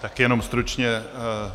Tak jenom stručně.